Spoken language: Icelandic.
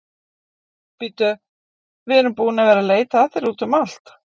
Bíddu, við erum búin að vera að leita að þér úti um allt.